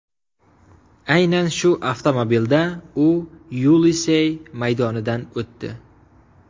Aynan shu avtomobilda u Yelisey maydonidan o‘tdi.